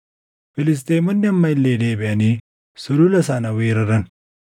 Filisxeemonni amma illee deebiʼanii sulula sana weeraran;